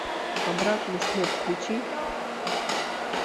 обратный след включи